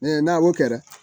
n'a y'o kɛ